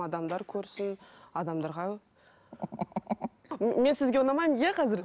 адамдар көрсін адамдарға мен сізге ұнамаймын иә қазір